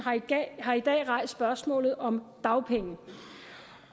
har i dag rejst spørgsmålet om dagpenge